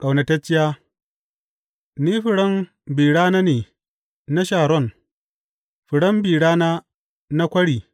Ƙaunatacciya Ni furen bi rana ne na Sharon, furen bi rana na kwari.